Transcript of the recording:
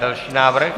Další návrh.